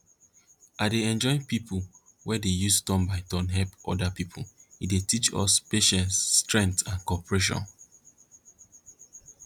i dey enjoy wen pipo dey use turn by turn help oda pipo e dey teach us patience strength an cooperation